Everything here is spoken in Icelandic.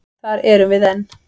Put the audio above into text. Þar erum við enn.